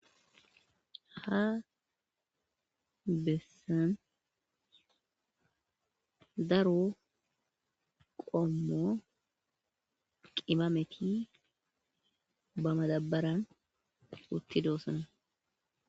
ha bessan daro qommo qimameti ba madabaran utti doossana